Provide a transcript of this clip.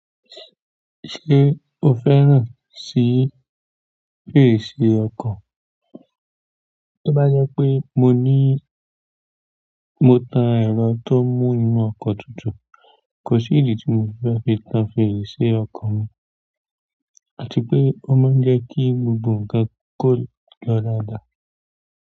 Ṣé o fẹ́ràn sí fèrèsé ọkọ̀? Tó bá jẹ́ pé mo ní, mo tan ẹ̀rọ tó mú inú ọkọ̀ tutù, kò sí ìdí tí mo fi fẹ́ tan fèrèsé ọkọ̀ mi, àti pé ó máa ń jẹ́ kí gbogbo ǹkan kó lọ dáadáa.